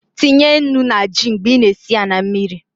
Tinye nnu na ji mgbe I na- esi na mmiri